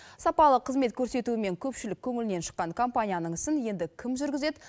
сапалы қызмет көрсетуімен көпшілік көңілінен шыққан компанияның ісін енді кім жүргізеді